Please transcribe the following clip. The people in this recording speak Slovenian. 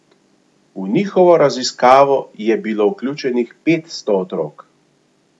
V njihovo raziskavo je bilo vključenih petsto otrok.